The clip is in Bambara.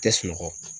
Tɛ sunɔgɔ